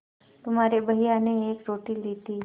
तुम्हारे भैया ने एक रोटी ली थी